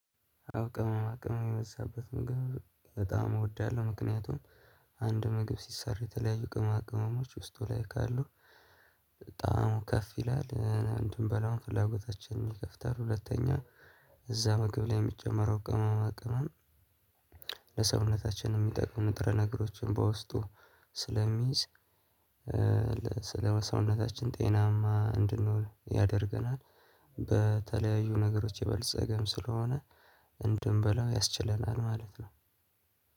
አዎ ቅመማ ቅመም የበዛበት ምግብ በጣም እወዳለሁ ምክንያቱም አንድ ምግብ ሲሰራ የተለያዩ ቅመማ ቅመሞች ውስጡ ላይ ካሉ ጣዕሙ ከፍ ይላል እንድንበላውም ፍላጎታችንን ይከፍታል። ሁለተኛ እዛ ምግብ ላይ የሚጨመረው ቅመማ ቅመም ለሰውነታችን የሚጠቅሙ ንጥረ ነገሮችን በውስጡ ስለሚይዝ ለ ስለ ሰውነታችን ጤናማ እንድንሆን ያደርገናል በተለያዩ ነገሮች የበለጸገም ስለሆነ እንድንበላው ያስችለናል ማለት ነው።